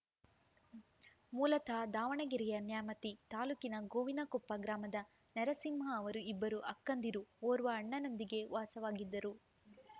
ಮೂಲತಃ ದಾವಣಗೆರೆಯ ನ್ಯಾಮತಿ ತಾಲೂಕಿನ ಗೋವಿನಕೊಪ್ಪ ಗ್ರಾಮದ ನರಸಿಂಹ ಅವರು ಇಬ್ಬರು ಅಕ್ಕಂದಿರು ಓರ್ವ ಅಣ್ಣನೊಂದಿಗೆ ವಾಸವಾಗಿದ್ದರು